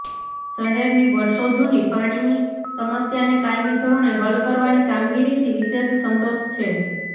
શહેરની વર્ષો જુની પાણીની સમસ્યાને કાયમી ધોરણે હલ કરવાની કામગીરીથી વિશેષ સંતોષ છે